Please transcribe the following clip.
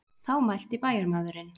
Þá mælti bæjarmaðurinn.